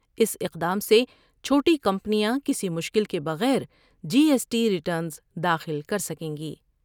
اس اقدام سے چھوٹی کمپنیاں کسی مشکل کے بغیر جی ایس ٹی ریٹرنس داخل کرسکیں گی ۔